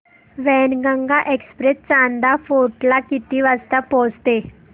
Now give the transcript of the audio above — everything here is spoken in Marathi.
वैनगंगा एक्सप्रेस चांदा फोर्ट ला किती वाजता पोहचते